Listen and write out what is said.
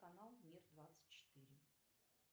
канал мир двадцать четыре